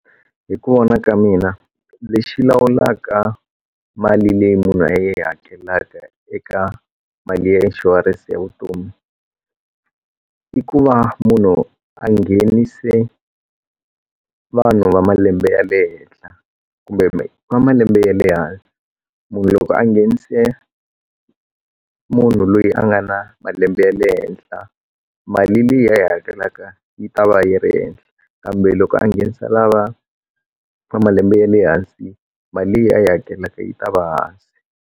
Hi ku vona ka mina lexi lawulaka mali leyi munhu a yi hakelaka eka mali ya inshurense ya vutomi i ku va munhu a nghenise vanhu va malembe ya le henhla kumbe va malembe ya le hansi munhu loko a nghenise munhu loyi a nga na malembe ya le henhla mali leyi a yi hakelaka yi ta va yi ri ehenhla kambe loko a nghenisa lava va malembe ya le hansi mali leyi a yi hakelaka yi ta va hansi.